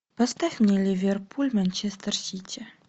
поставь мне ливерпуль манчестер сити